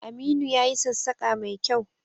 Aminu ya yi sassaƙa mai kyau